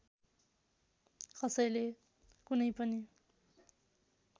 कसैले कुनै पनि